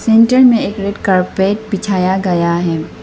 अंदर में एक रेड कारपेट बिछाया गया है।